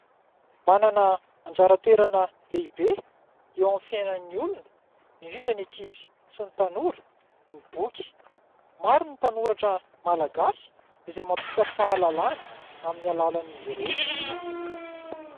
Manana anjara toerana lehibe eo amin'ny fiainan'ny olona, indrindra ny ankizy sy ny tanora ny boky ; maro ny mpanoratra malagasy izay mampita fahalalana amin'ny alalan'izy ireny.